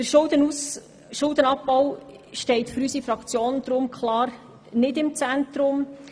Der Schuldenabbau steht für unsere Fraktion deshalb nicht im Zentrum.